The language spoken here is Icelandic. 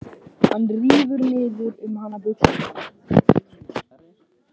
Hann rífur niður um hana buxurnar.